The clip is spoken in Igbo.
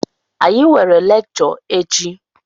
Anyị nwere lekchọ echi.